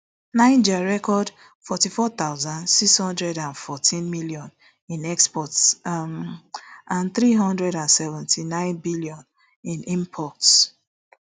niger record forty-four thousand, six hundred and fourteen million in exports um and three hundred and seventy-nine billion in imports